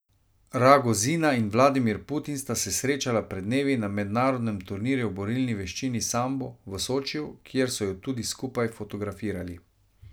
Ragozina in Vladimir Putin sta se srečala pred dnevi na mednarodnem turnirju v borilni veščini sambo v Sočiju, kjer so ju tudi skupaj fotografirali.